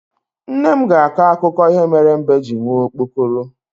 Nne m ga-akọ akụkọ ihe mere mbe ji nwee okpokoro